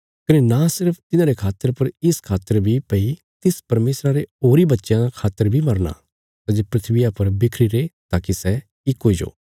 कने नां सिर्फ तिन्हांरे खातर पर इस खातर बी भई तिस परमेशरा रे होरीं बच्चयां खातर बी मरना सै जे धरतिया पर बिखरीरे ताकि सै इक हुईजो